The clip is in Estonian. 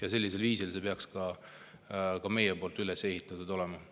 Aga sellisel viisil ei peaks meie avaldus üles ehitatud olema.